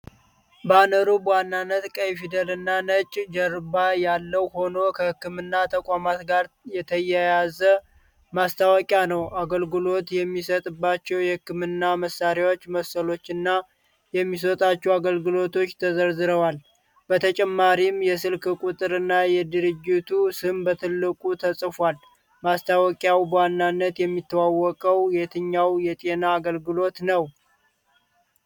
ባነሩ በዋናነት ቀይ ፊደልና ነጭ ጀርባ ያለው ሆኖ ከህክምና ተቋም ጋር የተያያዘ ማስታወቂያ ነው። አገልግሎት የሚሰጥባቸው የህክምና መሳሪያዎች ምስሎችና የሚሰጧቸው አገልግሎቶች ተዘርዝረዋል። በተጨማሪም ስልክ ቁጥሮችና የድርጅቱ ስም በትልቁ ተጽፏል። ማስታወቂያው በዋናነት የሚተዋወቀው የትኛው የጤና አገልግሎት ነው?